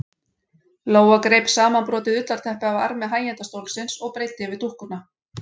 Lóa greip samanbrotið ullarteppi af armi hægindastólsins og breiddi yfir dúkkuna.